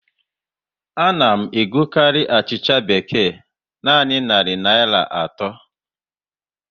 A na m egokarị achịcha bekee a naanị narị Naịra atọ